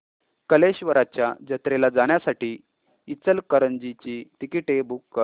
कल्लेश्वराच्या जत्रेला जाण्यासाठी इचलकरंजी ची तिकिटे बुक कर